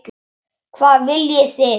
Hvað viljið þið!